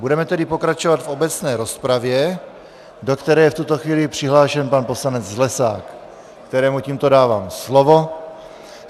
Budeme tedy pokračovat v obecné rozpravě, do které je v tuto chvíli přihlášen pan poslanec Zlesák, kterému tímto dávám slovo.